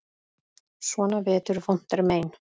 Svona vetur vont er mein.